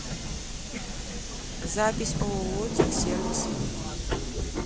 запись ооо техсервис